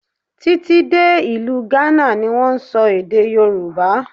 Tí tí dé ìlú Ghana ni wón ń sọ èdè Yorùbá.